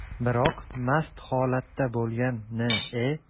Biroq mast holatda bo‘lgan N.E.